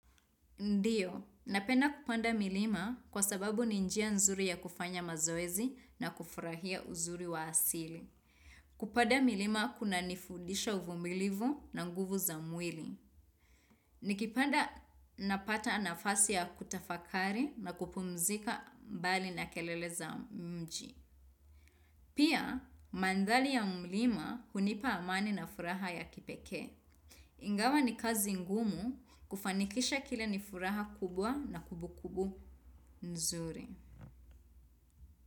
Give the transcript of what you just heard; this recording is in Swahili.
Ndiyo, napenda kupanda milima kwa sababu ni njia nzuri ya kufanya mazoezi na kufurahia uzuri wa asili. Kupanda milima kuna nifudisha uvumilivu na nguvu za mwili. Nikipanda napata nafasi ya kutafakari na kupumzika mbali na kelele za mji. Pia, mandhari ya mlima hunipa amani na furaha ya kipekee. Ingawa ni kazi ngumu kufanikisha kile ni furaha kubwa na kumbukumbu nzuri.